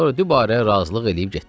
Sonra dübarə razılıq eləyib getdi.